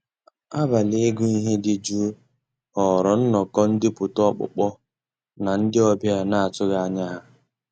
Àbàlí ị́gụ́ íhé dị́ jụ́ụ́ ghọ́ọ́rà nnọ́kọ́ ndépụ́tà ọ́kpụ́kpọ́ ná ndị́ ọ̀bịá ná-àtụ́ghị́ ànyá yá.